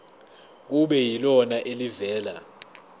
kube yilona elivela